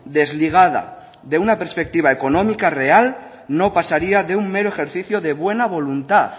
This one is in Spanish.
desligada de una perspectiva económica real no pasaría de un mero ejercicio de buena voluntad